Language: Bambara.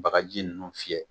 Bagaji ninnu fiyɛ